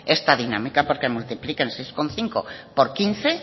esta dinámica porque multipliquen seis coma cinco por quince